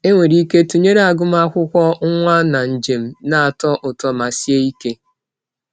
Enwere ike tụnyere agụmakwụkwọ nwa na njem na-atọ ụtọ ma sie ike.